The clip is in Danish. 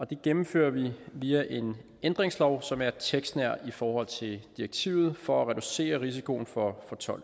det gennemfører vi via en ændringslov som er tekstnær i forhold til direktivet for at reducere risikoen for